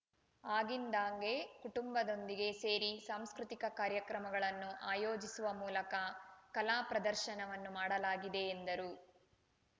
ಆಗಿಂದಾಗ್ಗೆ ಕುಟುಂಬದೊಂದಿಗೆ ಸೇರಿ ಸಾಂಸ್ಕೃತಿಕ ಕಾರ್ಯಕ್ರಮಗಳನ್ನು ಆಯೋಜಿಸುವ ಮೂಲಕ ಕಲಾ ಪ್ರದರ್ಶನವನ್ನು ಮಾಡಲಾಗಿದೆ ಎಂದರು